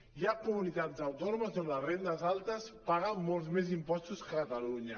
hi ha comunitats autònomes on les rendes altes paguen molts més impos·tos que a catalunya